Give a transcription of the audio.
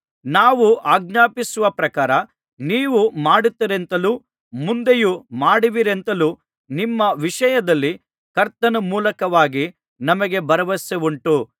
ನಾವು ಆಜ್ಞಾಪಿಸುವ ಪ್ರಕಾರ ನೀವು ಮಾಡುತ್ತೀರೆಂತಲೂ ಮುಂದೆಯೂ ಮಾಡುವಿರೆಂತಲೂ ನಿಮ್ಮ ವಿಷಯದಲ್ಲಿ ಕರ್ತನ ಮೂಲಕವಾಗಿ ನಮಗೆ ಭರವಸವುಂಟು